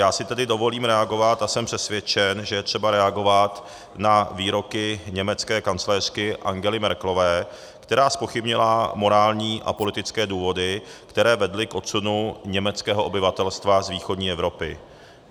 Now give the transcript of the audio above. Já si tedy dovolím reagovat a jsem přesvědčen, že je třeba reagovat na výroky německé kancléřky Angely Merkelové, která zpochybnila morální a politické důvody, které vedly k odsunu německého obyvatelstva z východní Evropy.